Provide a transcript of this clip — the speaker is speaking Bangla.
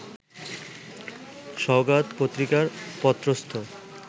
সওগাত পত্রিকায় পত্রস্থ